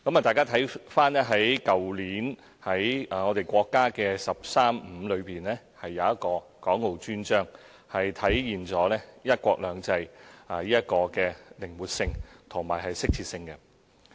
大家可看到，去年國家"十三五"規劃中的《港澳專章》正體現"一國兩制"的靈活性和適切性。